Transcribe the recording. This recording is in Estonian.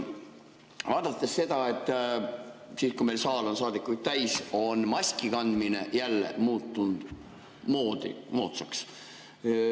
Vaadates seda, et kui meil saal on saadikuid täis, on maskikandmine jälle muutunud moodsaks.